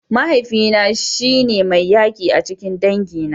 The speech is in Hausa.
Mahaifina shi ne mai yaki a cikin dangina.